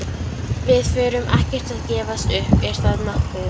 Við förum ekkert að gefast upp. er það nokkuð?